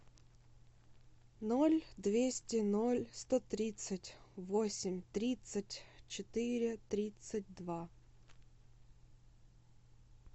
ноль двести ноль сто тридцать восемь тридцать четыре тридцать два